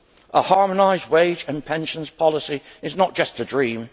A harmonised wage and pensions policy is not just a dream